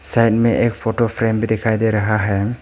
Side में एक photo frame भी दिखाई दे रहा है।